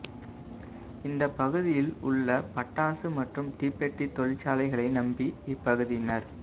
இந்தப் பகுதியில் உள்ள பட்டாசு மற்றும் தீப்பெட்டி தொழிற்சாலைகளை நம்பி இப்பகுதியினா்